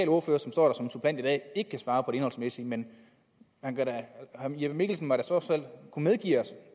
ordfører som står der som suppleant i dag ikke kan svare på det indholdsmæssige men herre jeppe mikkelsen må da trods alt kunne medgive os